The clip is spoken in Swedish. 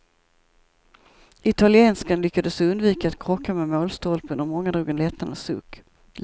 Italienskan lyckades undvika att krocka med målstolpen och många drog en lättnadens suck.